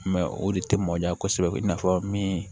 o de tɛ mɔnja kosɛbɛ i n'a fɔ min